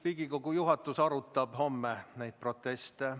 Riigikogu juhatus arutab homme neid proteste.